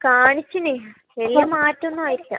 കാണിച്ചിന്. വലിയ മാറ്റമൊന്നും ആയിട്ടില്ല.